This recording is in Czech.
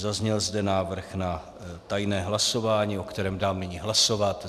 Zazněl zde návrh na tajné hlasování, o kterém dám nyní hlasovat.